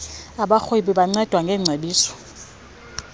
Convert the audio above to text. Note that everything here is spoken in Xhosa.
abarhweni bancedwa ngeengcebiso